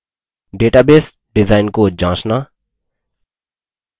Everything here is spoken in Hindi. database डिजाइन को जाँचना